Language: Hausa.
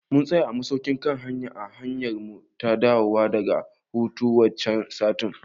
Mun tsaya a masaukin kan hanya a hanyarmu ta dawowa daga hutu wancan satin